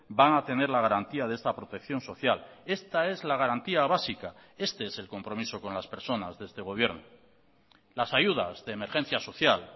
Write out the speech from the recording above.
van a tener la garantía de esta protección social esta es la garantía básica este es el compromiso con las personas de este gobierno las ayudas de emergencia social